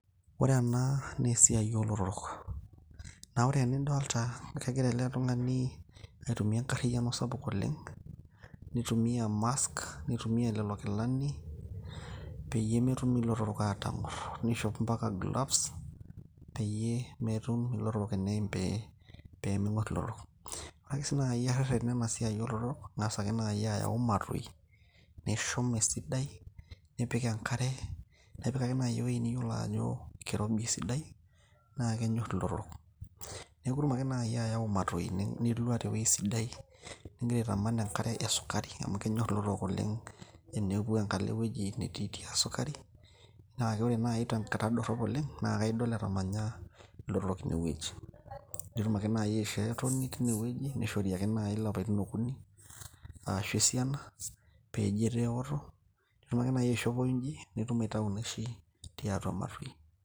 ore ena naa esiai oo lotorok ore anaa enidolita kegira ele tung'ani aitumia enkarriyano sapuk oleng' neitumia CS[mask]CS neitumia lelo kilani peyiee metum ilotorok aatang'or neitumia CS[gloves]CS peyiee metum ilotorok eneeim, ore ereren enasiai oo lotorok ing'asa ake naaji ayau imatoi nishum esidai nipik ewuoji niyiolo ajo kirobi esidai naa kenyor ilotorok neeku itum ake naaji ayau imatoi nilwa tewuoji sidai nigira aitaman enkare e sukari amu kenyor ilotorok oleng' tenepuo enkalo ewuoji netiitii esukari naa ore naaji tenkata dorop oleng' naa idol etamanya ilotorok inewuoji nitum ake naaji aisho etoni teine wuoji neishori ilapaitin okunik arashu esiana peeji etaa ewoto ninchopo inji piitum aitayu inaishi tiatua imatoi.